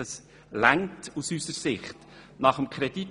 Dies ist aus unserer Sicht ausreichend.